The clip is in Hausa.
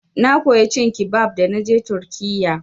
Na koya cin kibab da naje turkiyya.